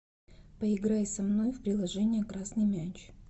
поиграй со мной в приложение красный мяч